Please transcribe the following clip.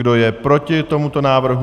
Kdo je proti tomuto návrhu?